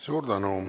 Suur tänu!